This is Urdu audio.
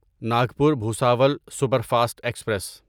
Nagpur Bhusawal superfast express